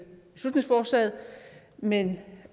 beslutningsforslaget men